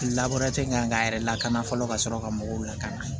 labure kan ka yɛrɛ lakana fɔlɔ ka sɔrɔ ka mɔgɔw lakana